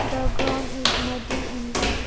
The ground is muddy and wet.